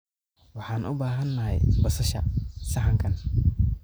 Waxaan u baahanahay basasha saxankan.